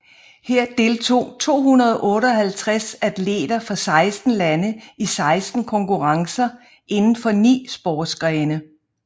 Her deltog 258 atleter fra 16 lande i 16 konkurrencer inden for ni sportsgrene